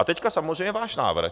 A teď samozřejmě váš návrh.